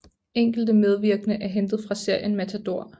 Enkelte medvirkende er hentet fra serien Matador